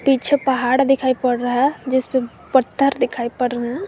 पीछे पहाड़ दिखाई पड़ रहा है जिस पे पत्थर दिखाई पड़ रहे हैं।